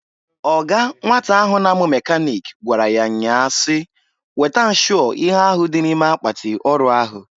Ọga nwata ahụ na-amụ mekanịk gwara ya nnya a si, "Weta nshụọ ihe ahụ dị ime akpatị ọrụ ahụ!"